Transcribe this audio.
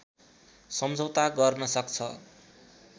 सम्झौता गर्न सक्छ